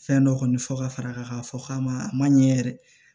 Fɛn dɔ kɔni fɔ ka far'a kan k'a fɔ k'a ma a ma ɲɛ yɛrɛ